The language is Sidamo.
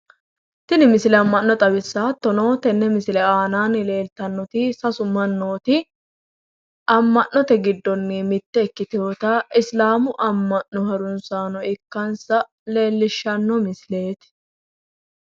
Tini misile amma'no xawissawo. Hattono tenne misilera aannani leeltannoti sasu mannooti amma'note giddonni mittebikkitewota isiliminnu amma'no ikkutewota leellishshanno misileeti